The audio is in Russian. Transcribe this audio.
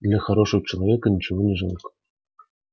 для хорошего человека ничего не жалко